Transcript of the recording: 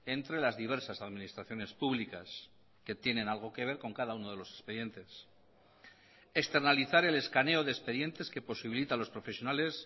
entre las diversas administraciones públicas que tienen algo que ver con cada uno de los expedientes externalizar el escaneo de expedientes que posibilita a los profesionales